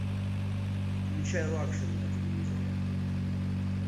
включай лакшери на телевизоре